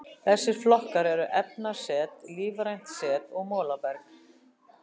Þessir flokkar eru efnaset, lífrænt set og molaberg.